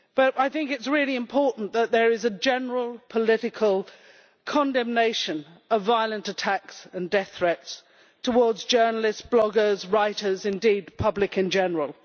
I think that it is really important that there should be general political condemnation of violent attacks and death threats against journalists, bloggers, writers and indeed the public in general.